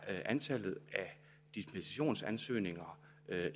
antallet af dispensationsansøgninger